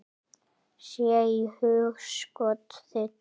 Sé í hugskot þitt.